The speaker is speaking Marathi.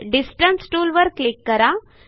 डिस्टन्स टूलवर क्लिक करा